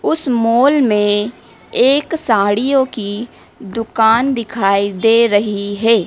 उस मॉल में एक साड़ियों की दुकान दिखाई दे रही है।